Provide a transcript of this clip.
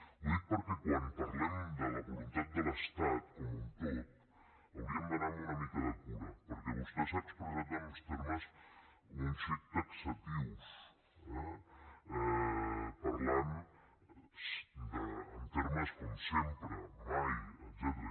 ho dic perquè quan parlem de la voluntat de l’estat com un tot hauríem d’anar una mica amb compte perquè vostè s’ha expressat en uns termes un xic taxatius eh parlant en termes com sempre mai etcètera